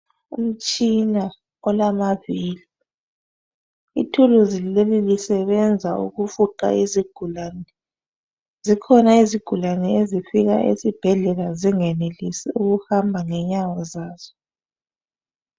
Umtshina olamavili , ithuluzi leli lisebenza ukufuqa izigulane , zikhona izigulane ezifika eSibhedlela zingenelisi ukuhamba ngenyawo zazo.